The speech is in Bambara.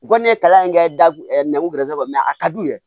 U kɔni ye kalan in kɛ da nguweresɛrisiw a ka d'u ye